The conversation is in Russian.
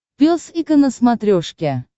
пес и ко на смотрешке